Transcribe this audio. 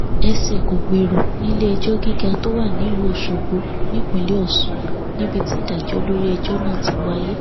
ẹsẹ kò gbèrò níléẹjọ gíga tó wà nílùú ọṣọgbó nípínlẹ ọsùn níbi tí ìdájọ lórí ẹjọ náà ti wáyé